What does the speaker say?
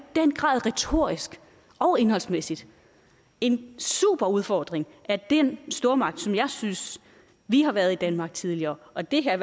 den grad retorisk og indholdsmæssigt en super udfordring af den stormagt som jeg synes vi har været i danmark tidligere og det her er